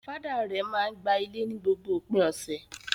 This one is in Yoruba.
Father rẹ̀ máa ń gba ilé ni gbogbo òpin ọ̀sẹ̀.